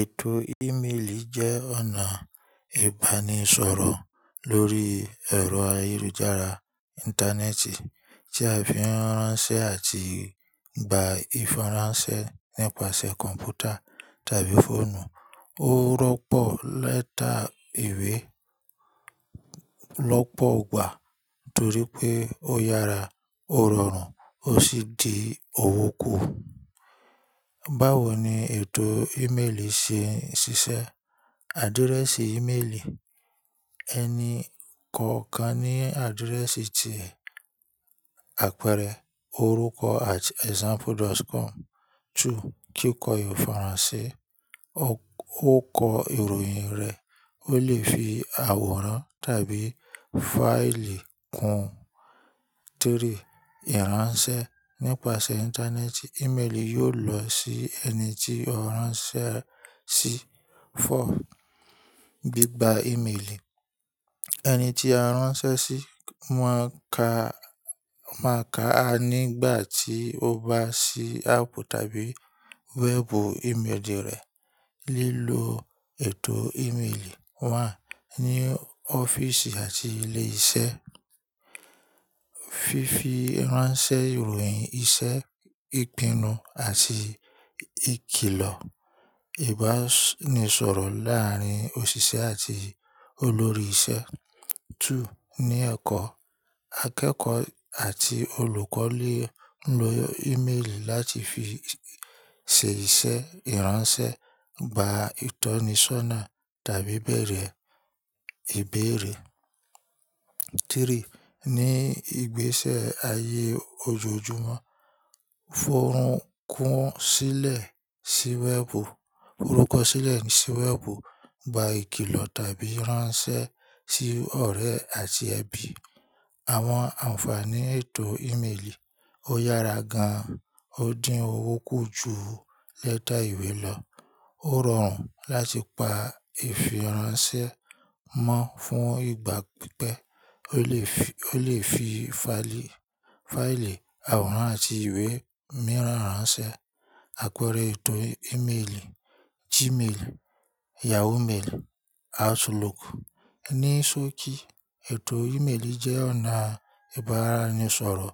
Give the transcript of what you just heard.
Ètò ímélì jẹ́ ọ̀nà ìbánisọ̀rọ̀ lórí ẹ̀rọ ayélujára ìntánẹ́ẹ̀tì tí a fi ń ránṣẹ́ àti gba ìfiránsẹ́ nípasẹ̀ kọ̀m̀pútà tàbí fóònù. Ó rọ́pọ̀ lẹ́tà ìwé lọ́pọ̀ ọgbà nítorí pé ó yára, ó rọrùn ó sì di òwú kù. Báwo ni ètò ímélì ṣe ń ṣiṣẹ́? Àdírẹ́sì ímélì: ẹni kọ̀ọ̀kan ní àdírẹ́sì ti e apẹẹrẹ orúkọ@example.com. Two: kí kó ìfiránsẹ́. Ó kọ ìròyìn rẹ̀, ó lè fi àwòrán tàbí fáìlì kún. Three: ìránṣẹ́. Nípasẹ̀ Íntánẹ́ẹ̀tì, ímélì yóò lọ sí ẹni tí ó ránṣẹ́ sí. Four: bí gba ímélì. Ẹni tí a ránṣẹ́ sí máa ka, máa ka á nígbà tí ó bá sí áàpù tàbí wẹ́ẹ̀bù ímélì rẹ̀. Lílo ètò ímélì. One: ní ọ́fíìsì àti ilé iṣẹ́. Fi fi ránṣẹ́ ìròyìn iṣẹ́, ìpinnu àti ìkilọ̀. Ìbánisọ̀rọ̀ láàárín òṣìṣẹ́ àti olórí iṣẹ́. Two: ní ẹ̀kọ́. Akẹ́kọ̀ọ́ àti olùkọ́ lè lo ímélì láti fi ṣe iṣẹ́, ìránṣẹ́, gba ìtọ́nisọ́nà tàbí bẹ̀rẹ̀ ìbéèrè. Three: ní ìgbésẹ̀ ayé ojoojúmọ́. Fohùn kún sílẹ̀ sí wẹ́ẹ̀bù, forukọ sílẹ̀ sí wẹ́ẹ̀bù, gba ìkilọ̀ tàbí ìránṣẹ́ sí ọ̀rẹ́ àti ẹbí. Àwọn ànfàní ètò ímélì. Ó yára gan an, ó dín owó kù ju lẹ́tà ìwé lọ. Ó rọrùn láti pa ìfiránsẹ́ mọ́ fún ìgbà pípẹ́. O le fi Ó lè fi, ó lè fi fáìlì, àwòrán àti ìwé mìíràn ránṣẹ́. Àpẹẹrẹ ètò ímélì: Gmail, Yahoo Mail, Outlook. Ni soki, ètò ímélì jẹ́ ọ̀nà ìbáranisoro